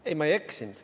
Ei, ma ei eksinud.